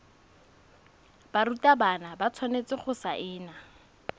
barutwana ba tshwanetse go saena